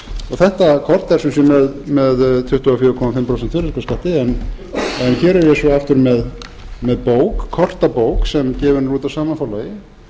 kort er sem sé með tuttugu og fjögur og hálft prósent virðisaukaskatti hér er ég svo aftur með kortabók sem gefin er út af sama forlagi